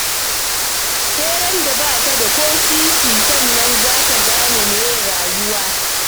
Sai randa ba ka da ko sisi sannan za ka gane meye rayuwa